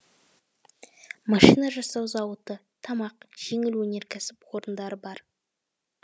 машина жасау зауыты тамақ жеңіл өнеркәсіп орындары бар